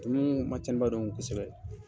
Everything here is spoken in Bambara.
ma cɛnniba don kosɛbɛ